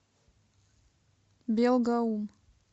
белгаум